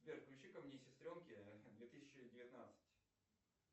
сбер включи ка мне сестренки две тысячи девятнадцать